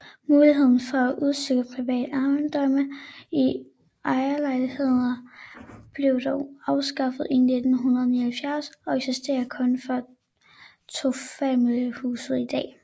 Muligheden for udstykke private ejendomme i ejerlejligheder blev dog afskaffet i 1979 og eksisterer kun for tofamiliehuse i dag